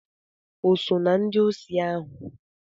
O so na ndị osi ahụ?